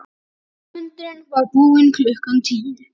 Fundurinn var búinn klukkan tíu.